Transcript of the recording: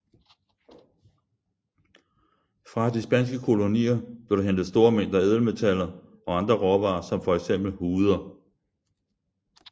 Fra de spanske kolonier blev der hentet store mængder ædelmetaller og andre råvarer som for eksempel huder